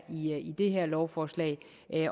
i det her lovforslag